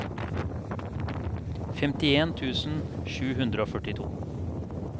femtien tusen sju hundre og førtito